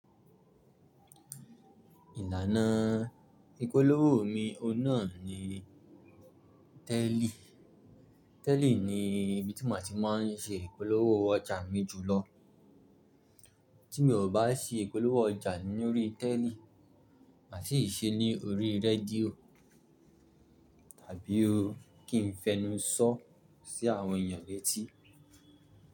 Ìlànà ìpolówó mi ọ̀ún nà ni tẹ́líì. Tẹ́líì ni ibi tí màá ti máa n ṣe ìpolówó ọjà mi jùlọ. Tí mi ò bá ṣe ìpolówó ọjà ní orí tẹ́líì, màá sì ṣe é ní orí rédíò tàbí kí n fẹnu sọ́ ọ́ sí àwọn èyàn létí.